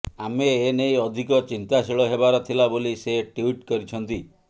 ଆମେ ଏ ନେଇ ଅଧିକ ଚିନ୍ତାଶୀଳ ହେବାର ଥିଲା ବୋଲି ସେ ଟ୍ବିଟ୍ କରିଛନ୍ତି